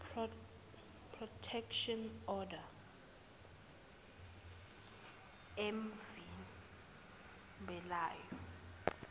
protection order emvimbelayo